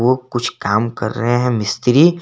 वो कुछ काम कर रहे हैं मिस्त्री।